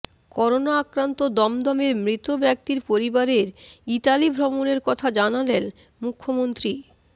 corona আক্রান্ত দমদমের মৃত ব্যক্তির পরিবারের ইতালি ভ্রমণের কথা জানালেন মুখ্যমন্ত্রী